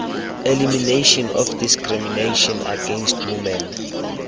elimination of discrimination against women